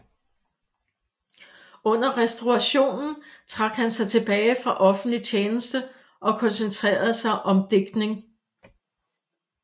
Under restaurationen trak han sig tilbage fra offentlig tjeneste og koncentrerede sig om digtning